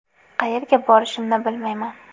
Qayerga borishimni bilmayman.